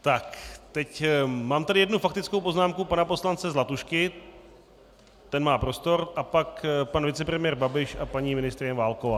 Tak, teď mám tady jednu faktickou poznámku pana poslance Zlatušky, ten má prostor, a pak pan vicepremiér Babiš a paní ministryně Válková.